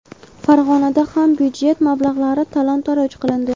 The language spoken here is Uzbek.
Farg‘onada ham byudjet mablag‘lari talon-toroj qilindi.